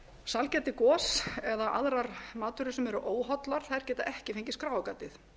sælgæti gos eða aðrar matvörur sem eru óhollar geta ekki fengið skráargatið